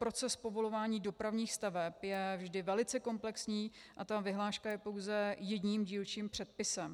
Proces povolování dopravních staveb je vždy velice komplexní a ta vyhláška je pouze jedním dílčím předpisem.